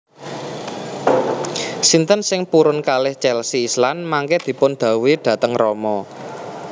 Sinten sing purun kalih Chelsea Islan mangke dipun dhawuhi dateng rama